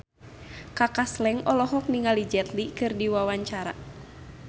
Kaka Slank olohok ningali Jet Li keur diwawancara